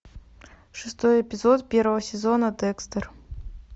шестой эпизод первого сезона декстер